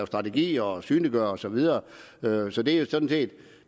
strategier og synliggøre det og så videre så det er